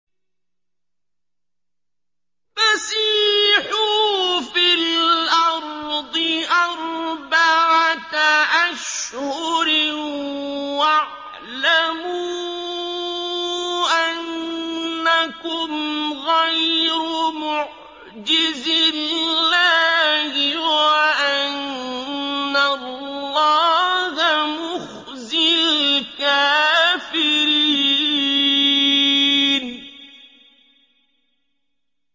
فَسِيحُوا فِي الْأَرْضِ أَرْبَعَةَ أَشْهُرٍ وَاعْلَمُوا أَنَّكُمْ غَيْرُ مُعْجِزِي اللَّهِ ۙ وَأَنَّ اللَّهَ مُخْزِي الْكَافِرِينَ